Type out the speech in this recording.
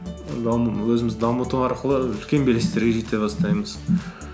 өзімізді дамыту арқылы үлкен белестерге жете бастаймыз